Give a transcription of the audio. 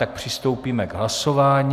Tak přistoupíme k hlasování.